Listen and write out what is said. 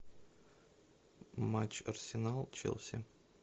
матч арсенал челси